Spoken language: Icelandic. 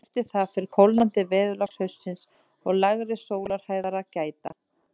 Eftir það fer kólnandi veðurlags haustsins og lægri sólarhæðar að gæta.